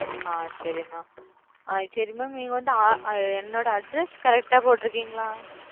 அ சரி mam சரி mam நீங்க வந்து என்னோட address correct ஆ போட்டுருக்கீங்களா?